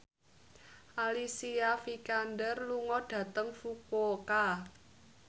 Alicia Vikander lunga dhateng Fukuoka